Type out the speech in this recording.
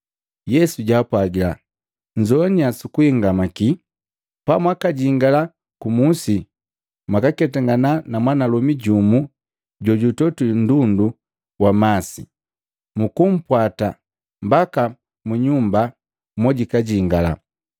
Yesu jaapwagila, “Nnzowanya sukuhingamaki, pamwakajingila ku Musi, mwakaketangana na mwanalomi jumu jojutogwi nndundu wa masi. Mukumpwata mbaka mu nyumba mojijingala.